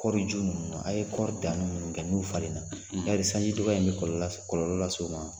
Kɔriju ninnu na a ye kɔri dani ninnu kɛ n'u falen na yali sanji dɔgɔya in bɛ kɔlɔlɔ lase kɔlɔlɔ lase u ma wa